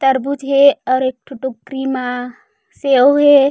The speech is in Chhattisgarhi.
तरबूज़ हे आऊ एकठो टोकरी मा सेव हे।